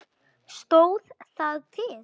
Stóð það til?